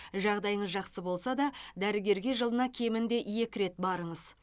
жағдайыңыз жақсы болса да дәрігерге жылына кемінде екі рет барыңыз